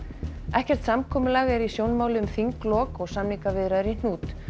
ekkert samkomulag er í sjónmáli um þinglok og samningaviðræður í hnút